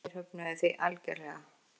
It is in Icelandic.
Þeir höfnuðu því algerlega.